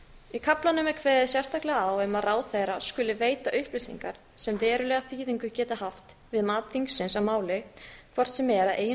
í kaflanum er kveðið sérstaklega á um að ráðherra skuli veita upplýsingar sem verulega þýðingu geta haft við mat þingsins á máli hvort sem er að eigin